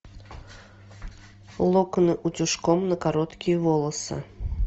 локоны утюжком на короткие волосы